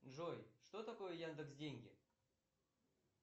джой что такое яндекс деньги